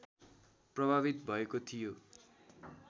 प्रभावित भएको थियो